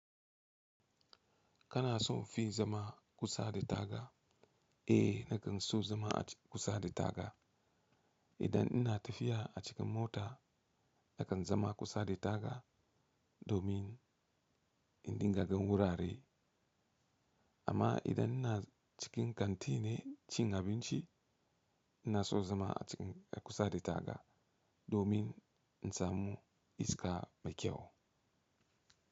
Kana son fin zama kusa da taga? Eh, nakan so zama a kusa da taga. Idan ina tafiya a cikin mota, nakan zama kusa da taga, domin in dinga gan wurare. Amma idan ina cikin kantine cin abinci, ina son zama a cikin kusa da taga domin in samu iska mai kyau.